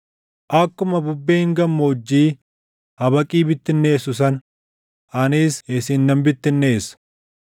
“Akkuma bubbeen gammoojjii habaqii bittinneessu sana anis isin nan bittinneessa.